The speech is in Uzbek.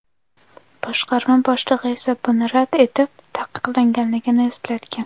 Boshqarma boshlig‘i esa buni rad etib, taqiqlanganligini eslatgan.